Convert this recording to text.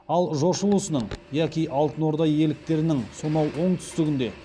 ал жошы ұлысының яки алтын орда иеліктерінің сонау оңтүстігінде